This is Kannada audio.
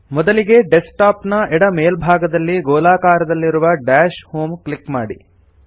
ಮೊದಲಿಗೆ ಡೆಸ್ಕ್ ಟಾಪ್ ನ ಎಡ ಮೇಲ್ಭಾಗದಲ್ಲಿ ಗೋಲಾಕಾರದಲ್ಲಿರುವ ದಶ್ ಹೋಮ್ ಕ್ಲಿಕ್ ಮಾಡಿ